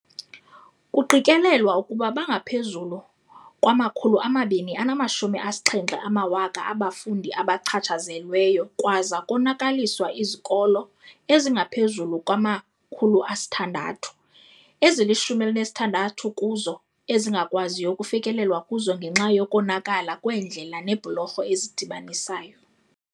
"Kuqikelelwa ukuba bangaphezulu kwama-270 000 abafundi abachatshazelweyo kwaza konakaliswa izikolo ezingaphezulu kwama-600, ezili-16 kuzo ezingakwaziyo ukufikelelwa kuzo ngenxa yokonakala kweendlela neebhulorho ezidibanisayo."